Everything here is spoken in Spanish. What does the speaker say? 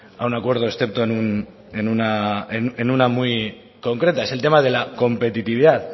a un acuerdo excepto en una muy concreta es el tema de la competitividad